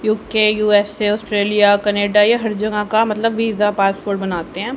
UK USA Australia Canada ये हर जगह का मतलब वीजा पासपोर्ट बनाते हैं।